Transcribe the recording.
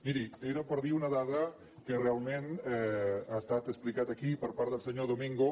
miri era per dir una dada que realment ha estat explicada aquí per part del senyor domingo